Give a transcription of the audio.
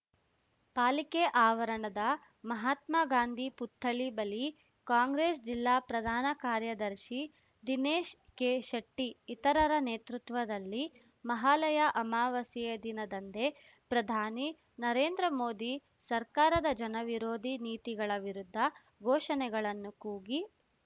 ಪಾಲಿಕೆ ಆವರಣದ ಮಹಾತ್ಮ ಗಾಂಧಿ ಪುತ್ಥಳಿ ಬಳಿ ಕಾಂಗ್ರೆಸ್‌ ಜಿಲ್ಲಾ ಪ್ರಧಾನ ಕಾರ್ಯದರ್ಶಿ ದಿನೇಶ್ ಕೆಶೆಟ್ಟಿಇತರರ ನೇತೃತ್ವದಲ್ಲಿ ಮಹಾಲಯ ಅಮವಾಸ್ಯೆಯ ದಿನದಂದೇ ಪ್ರಧಾನಿ ನರೇಂದ್ರ ಮೋದಿ ಸರ್ಕಾರದ ಜನ ವಿರೋಧಿ ನೀತಿಗಳ ವಿರುದ್ಧ ಘೋಷಣೆಗಳನ್ನು ಕೂಗಿ